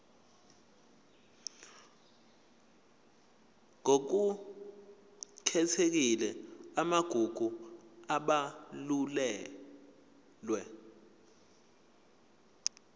ngokukhethekile amagugu abalulwe